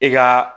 I ka